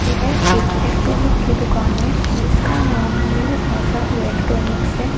यह एक इलेक्ट्रॉनिक की दुकान है जिसका नाम न्यू आशा इलेक्ट्रॉनिक्स है।